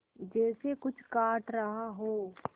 जैसे कुछ काट रहा हो